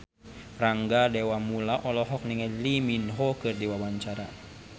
Rangga Dewamoela olohok ningali Lee Min Ho keur diwawancara